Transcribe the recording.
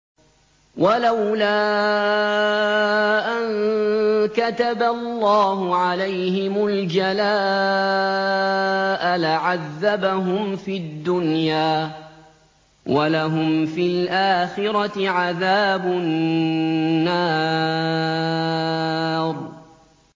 وَلَوْلَا أَن كَتَبَ اللَّهُ عَلَيْهِمُ الْجَلَاءَ لَعَذَّبَهُمْ فِي الدُّنْيَا ۖ وَلَهُمْ فِي الْآخِرَةِ عَذَابُ النَّارِ